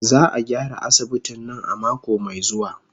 Za a gyara asibitin nan a mako mai zuwa.